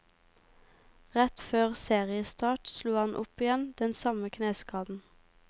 Rett før seriestart slo han opp igjen den samme kneskaden.